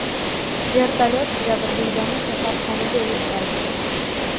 Vertolyot jabrdiydani kasalxonaga yetkazdi.